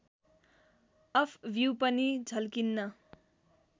of view पनि झल्किन्न